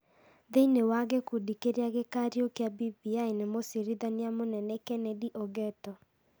Thĩinĩ wa gĩkundi kĩrĩa gĩkariũkia BBI nĩ mũcirithania mũnene Kennedy Ogeto.